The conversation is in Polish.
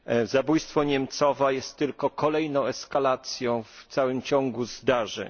Zabójstwo Niemcowa jest tylko kolejną eskalacją w całym ciągu zdarzeń.